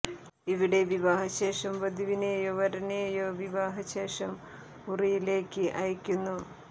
ഇവിടെ വിവാഹ ശേഷം വധുവിനേയോ വരനേയോ വിവാഹ ശേഷം മുറിയേയ്ക്ക് അയക്കുന്നു